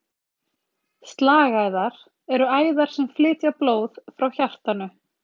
Slagæðar eru æðar sem flytja blóð frá hjartanu.